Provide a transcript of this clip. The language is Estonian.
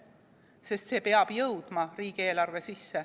Sest see peab jõudma riigieelarve sisse.